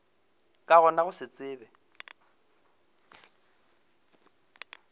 ka gona go se tsebe